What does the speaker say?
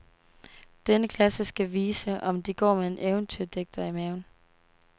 Denne klasse skal vise, om de går med en eventyrdigter i maven.